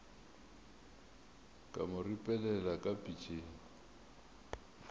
ka mo ripelela ka pitšeng